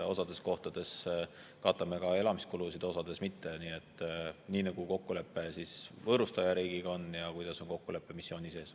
Osas kohtades katame ka elamiskulusid, osas mitte, nii nagu on kokkulepe võõrustajariigiga ja kokkulepe missiooni sees.